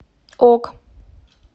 ок